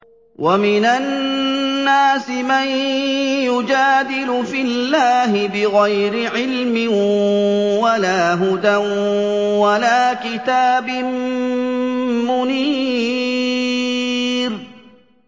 وَمِنَ النَّاسِ مَن يُجَادِلُ فِي اللَّهِ بِغَيْرِ عِلْمٍ وَلَا هُدًى وَلَا كِتَابٍ مُّنِيرٍ